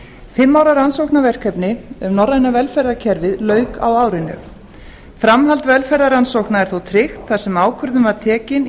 fimm ára rannsóknarverkefni um norræna velferðarkerfið lauk á árinu framhald velferðarrannsókna er þó tryggt þar sem ákvörðun var tekin í